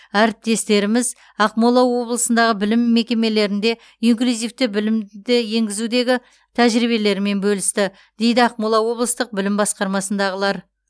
әріптестеріміз ақмола облысындағы білім мекемелерінде инклюзивті білімді енгізудегі тәжірибелерімен бөлісті дейді ақмола облыстық білім басқармасындағылар